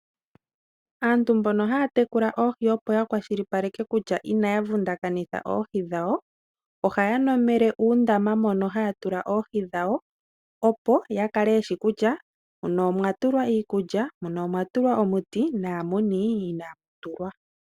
Aantu mbono haa tekula oohi opo ya kwashilipaleke kutya inaa vundakanitha oohi dhawo, ohaya nomele uundama mono haa tula oohi dhawo opo ya kale yeshi kutya muno omwa tulwa iikulya, muno omwa tulwa omuti naamuni inaamu tulwa.